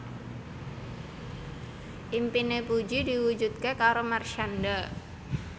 impine Puji diwujudke karo Marshanda